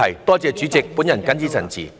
多謝代理主席，我謹此陳辭。